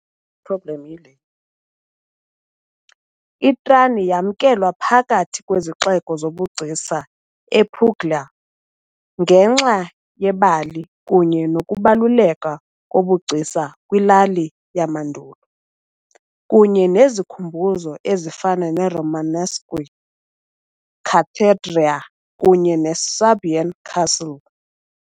I-Trani yamkelwa phakathi kwezixeko zobugcisa ePuglia , ngenxa yebali kunye nokubaluleka kobugcisa kwilali yamandulo kunye nezikhumbuzo ezifana ne- Romanesque cathedral kunye ne- Swabian castle .